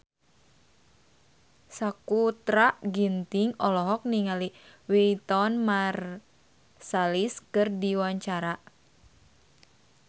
Sakutra Ginting olohok ningali Wynton Marsalis keur diwawancara